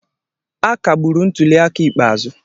a kagburu ntuli aka ikpeazụ